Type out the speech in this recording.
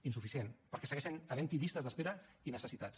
insuficient perquè segueixen havent hi llistes d’espera i necessitats